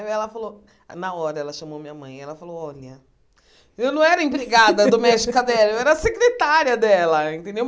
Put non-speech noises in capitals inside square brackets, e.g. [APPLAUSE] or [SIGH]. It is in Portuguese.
Aí ela falou, na hora ela chamou minha mãe, ela falou, olha... Eu não era empregada doméstica dela, [LAUGHS] eu era secretária dela, entendeu?